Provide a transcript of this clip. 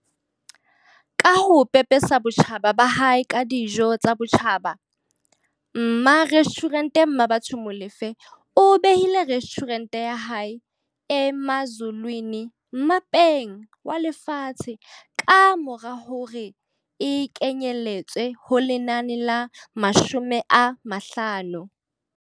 Ka ho pepesa botjhaba ba hae ka dijo tsa botjhaba, mmarestjhurente Mmabatho Molefe o behile restjhurente ya hae, Emazulwini, mmapeng walefatshe kamora hoba e kenyeletswe ho lenane la 50.